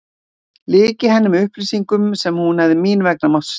Lyki henni með upplýsingum sem hún hefði mín vegna mátt sleppa.